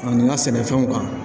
Ani n ka sɛnɛfɛnw kan